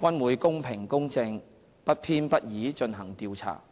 均會公平公正、不偏不倚進行調查。